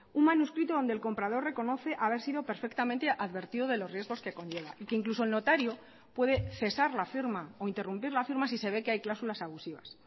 un manuscrito donde el comprador reconoce haber sido perfectamente advertido de los riesgos que conlleva y que incluso el notario puede cesar la firma o interrumpir la firma si se ve que hay cláusulas abusivas